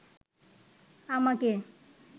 আমাকে